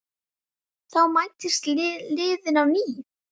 Þá mætast liðin á ný.